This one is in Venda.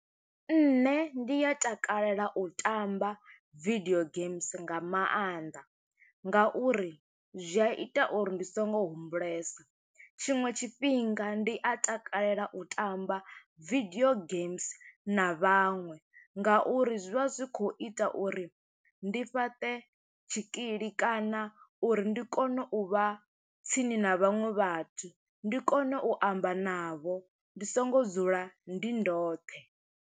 Nṋe ndi a takalela u tamba video games, nga maanḓa nga uri zwi a ita uri ndi songo humbulesa. Tshiṅwe tshifhinga ndi a takalela u tamba video games na vhaṅwe, nga uri zwi vha zwi khou ita uri ndi fhaṱe tshikili, kana uri ndi kone u vha tsini na vhaṅwe vhathu, ndi kone u amba navho. Ndi songo dzula, ndi ndoṱhe.